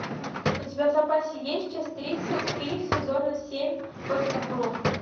у тебя в запасе есть часть тридцать три сезона семь под куполом